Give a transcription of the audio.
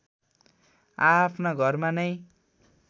आआफ्ना घरमा नै